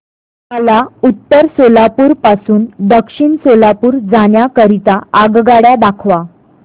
मला उत्तर सोलापूर पासून दक्षिण सोलापूर जाण्या करीता आगगाड्या दाखवा